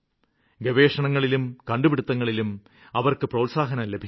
ഗവേഷണത്തിലും കണ്ടുപിടിത്തങ്ങളിലും അവര്ക്ക് പ്രോത്സാഹനം ലഭിക്കണം